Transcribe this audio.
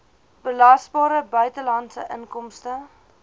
belasbare buitelandse inkomste